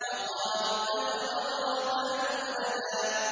وَقَالُوا اتَّخَذَ الرَّحْمَٰنُ وَلَدًا